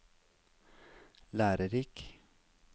lærerik